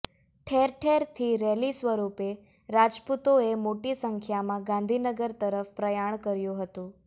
ઠેરઠેરથી rally સ્વરૂપે રાજપૂતોએ મોટી સંખ્યામાં ગાંધીનગર તરફ પ્રયાણ કર્યુ હતું